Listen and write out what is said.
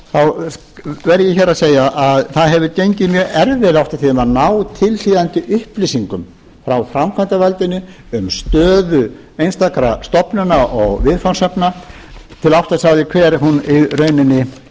heild verð ég hér að segja að það hefur gengið mjög erfiðlega oft á tíðum að ná tilhlýðandi upplýsingum frá framkvæmdarvaldinu um stöðu einstakra stofnana og viðfangsefna til að átta sig á því hver hún í rauninni